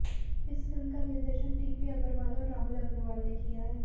इस फिल्म का निर्देशन टीपी अग्रवाल और राहुल अग्रवाल नें किया है